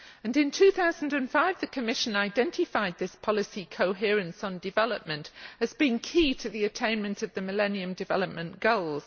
In 2005, the Commission identified this policy coherence on development as being key to the attainment of the Millennium Development Goals.